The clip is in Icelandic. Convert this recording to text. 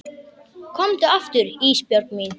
Komdu aftur Ísbjörg mín.